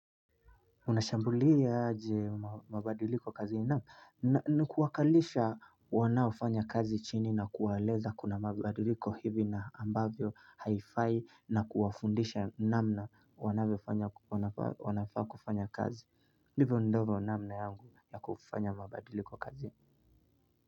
Unashambulia aje mabadiliko kazini? Naam. Ni kuwakalisha wanaofanya kazi chini na kuwaeleza kuna mabadiliko hivi na ambavyo haifai na kuwafundisha namna wanafaa kufanya kazi. Ndivyo ambavyo namna yangu ya kufanya mabadiliko kazini.